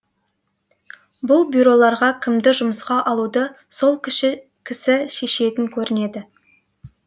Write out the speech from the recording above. бұл бюроларға киімді жұмысқа алуды сол кісі шешетін көрінеді